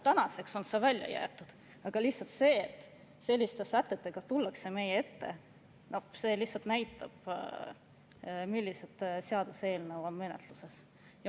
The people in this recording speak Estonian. Tänaseks on see välja jäetud, aga lihtsalt see, et selliste sätetega meie ette tullakse, näitab, milline seaduseelnõu on menetluses.